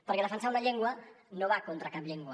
perquè defensar una llengua no va contra cap llengua